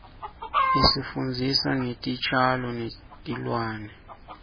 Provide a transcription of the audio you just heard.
isifundzisa ngetitjalo netilwane